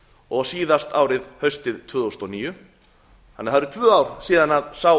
og síðast haustið tvö þúsund og níu þannig að það eru tvö ár síðan sá